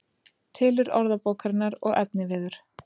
Tilurð orðabókarinnar og efniviður